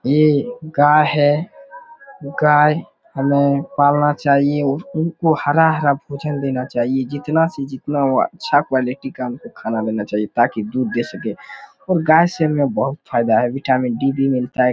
ये गाय है| गाय हमे पालना चाहिए उनको हरा हरा भोजन देना चाहिए जितना से जितना हो अच्छा हो अच्छा क्वालिटी उनके खाना मिलना चाहिए ताकि दूध दे सके और गाय से हमे बहुत फायदा है विटामिन डी मिलता है।